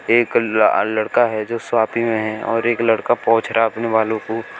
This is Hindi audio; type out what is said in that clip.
एक ल लड़का है जो में है और एक लड़का पोछ रहा अपने बालों को।